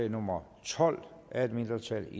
nummer tolv af et mindretal